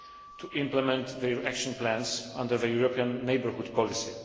to implement their action plans under the European Neighbourhood Policy.